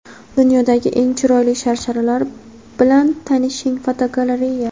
Dunyodagi eng chiroyli sharsharalar bilan tanishing (fotogalereya).